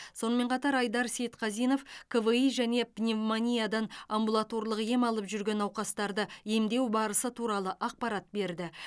сонымен қатар айдар сейітқазинов кви және пневмониядан амбулаторлық ем алып жүрген науқастарды емдеу барысы туралы ақпарат берді